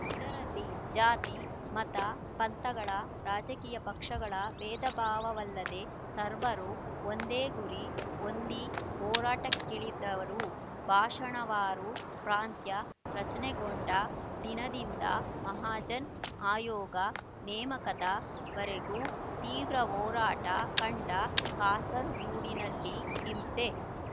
ಇದರಲ್ಲಿ ಜಾತಿ ಮತ ಪಂಥಗಳ ರಾಜಕೀಯ ಪಕ್ಷಗಳ ಬೇಧಭಾವಲ್ಲದೆ ಸರ್ವರೂ ಒಂದೇ ಗುರಿ ಹೊಂದಿ ಹೋರಾಟಕ್ಕಿಳದರು ಭಾಷಾವಾರು ಪ್ರಾಂತ್ಯ ರಚನೆಗೊಂಡ ದಿನದಿಂದ ಮಹಾಜನ್ ಆಯೋಗ ನೇಮಕದ ವರೆಗೂ ತೀವ್ರ ಹೋರಾಟ ಕಂಡ ಕಾಸರಗೂಡಿನಲ್ಲಿ ಹಿಂಸೆ